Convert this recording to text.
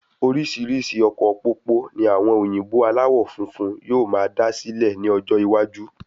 Orísirísi ọkọ̀ pópó ní àwọn òyìnbó alawọ funfun yóò máa dá sílè ni ọjọ iwaju